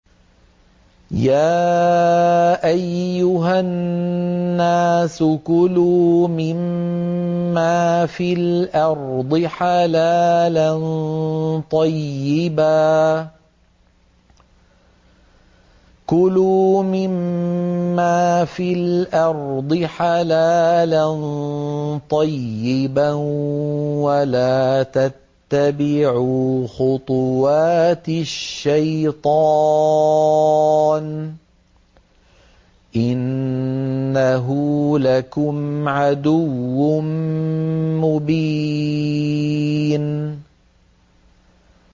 يَا أَيُّهَا النَّاسُ كُلُوا مِمَّا فِي الْأَرْضِ حَلَالًا طَيِّبًا وَلَا تَتَّبِعُوا خُطُوَاتِ الشَّيْطَانِ ۚ إِنَّهُ لَكُمْ عَدُوٌّ مُّبِينٌ